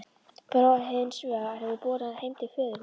Bróðir hins vegna hefur borið hann heim til föðurhúsa.